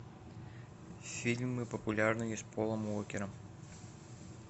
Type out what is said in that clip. фильмы популярные с полом уокером